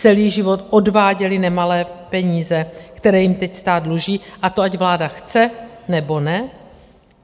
Celý život odváděli nemalé peníze, které jim teď stát dluží, a to ať vláda chce, nebo ne.